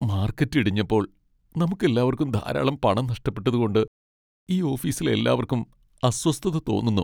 Market ഇടിഞ്ഞപ്പോൾ നമുക്കെല്ലാവർക്കും ധാരാളം പണം നഷ്ടപ്പെട്ടതുകൊണ്ട് ഈ ഓഫീസിലെ എല്ലാവർക്കും അസ്വസ്ഥത തോന്നുന്നു.